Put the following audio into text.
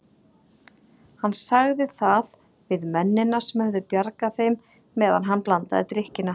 Hann sagði það við mennina sem höfðu bjargað þeim meðan hann blandaði drykkina.